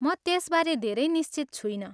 म त्यसबारे धेरै निश्चित छुइनँ।